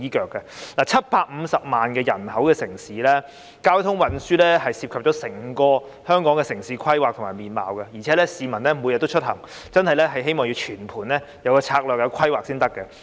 香港是一個有750萬人口的城市，交通運輸涉及整個香港的城市規劃和面貌，而且市民每天也會出行，希望政府會有全盤的策略和規劃。